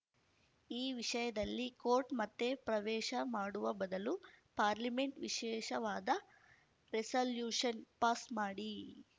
ಈ ವಿಷಯದಲ್ಲಿ ಕೋರ್ಟ್‌ ಮತ್ತೆ ಪ್ರವೇಶ ಮಾಡುವ ಬದಲು ಪಾರ್ಲಿಮೆಂಟ್‌ ವಿಶೇಷವಾದ ರೆಸಲ್ಯೂಷನ್‌ ಪಾಸ್‌ ಮಾಡಿ